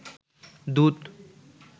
দুত